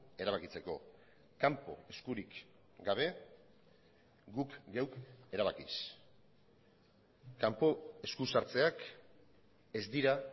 erabakitzeko kanpo eskurik gabe guk geuk erabakiz kanpo eskusartzeak ez dira